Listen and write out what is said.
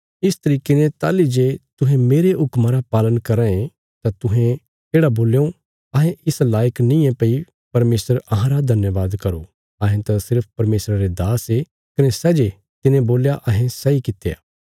इस तरिके ने ताहली जे तुहें मेरे हुक्मा रा पालन कराँ ये तां तुहें येढ़ा बोल्यों अहें इस लायक नींये भई परमेशर अहांरा धन्यवाद करो अहें त सिर्फ परमेशरा रे दास ये कने सै जे तिने बोल्या अहें सैई कित्या